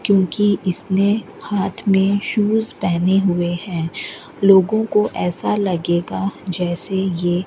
क्योंकि इसने हाथ में शूज पहने हुए हैं लोगों को ऐसा लगेगा जैसे ये --